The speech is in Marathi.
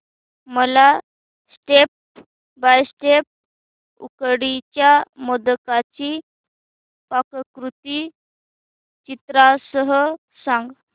मला स्टेप बाय स्टेप उकडीच्या मोदकांची पाककृती चित्रांसह सांग